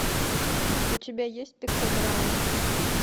у тебя есть пиктограммы